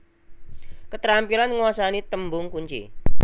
Ketrampilan nguasani tembung kunci